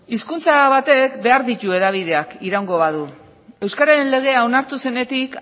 hizkuntza batek behar ditu hedabideak iraungo badu euskararen legea onartu zenetik